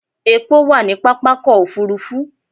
Epo wà ní pápákọ̀ òfúrúfú.